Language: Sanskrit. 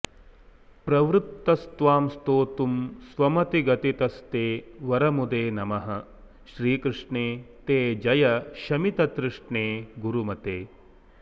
प्रवृत्तस्त्वां स्तोतुं स्वमतिगतितस्ते वरमुदे नमः श्रीकृष्णे ते जय शमिततृष्णे गुरुमते